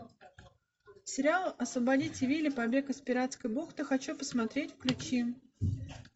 сериал освободите вилли побег из пиратской бухты хочу посмотреть включи